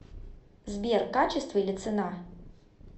сбер качество или цена